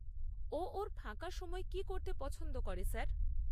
ও ওর ফাঁকা সময়ে কী করতে পছন্দ করে স্যার?